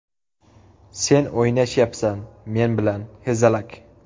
Sen o‘ynashyapsan men bilan, hezalak!